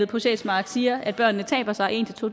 på sjælsmark siger at børnene taber sig en to